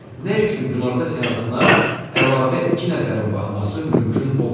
Nə üçün günorta seansına əlavə iki nəfərin baxması mümkün olmadı?